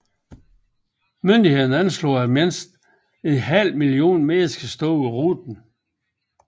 Myndighederne anslog at mindst en halv million mennesker stod ved ruten